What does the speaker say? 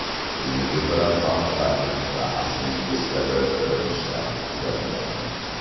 O‘zingiz bilan faxrlaning va aslingiz kabi ko‘rinishdan uyalmang!